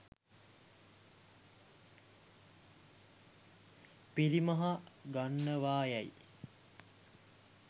පිරිමහ ගන්නවා යැයි